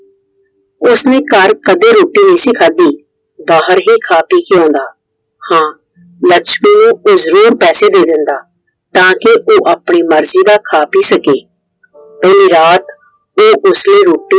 ਉਸਨੇ ਘਰ ਕਦੇ ਰੋਟੀ ਨਹੀਂ ਸੀ ਖਾਦੀ। ਬਾਹਰ ਹੀ ਖਾ ਕੇ ਹੀ ਆਉਂਦਾ। ਹਾਂ ਲੱਛਮੀ ਨੂੰ ਉਹ ਜਰੂਰ ਪੈਸੇ ਦੇ ਦਿੰਦਾ। ਤਾਕੇ ਉਹ ਆਪਣੀ ਮਰਜ਼ੀ ਦਾ ਖਾ ਪੀ ਸਕੇ। ਉਹ ਰਾਤ ਉਹ ਉਸ ਲਈ ਰੋਟੀ